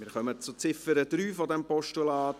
Wir kommen zur Ziffer 3 dieses Postulats.